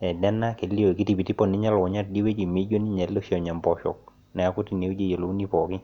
Nena kelio kitipitipo ninye elukunya tiidie wueji mijio ninye ele oshi onya mboshok neeku teine wueji eyiolouni pookin